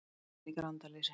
sagði hann í grandaleysi.